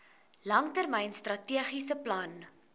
langtermyn strategiese plan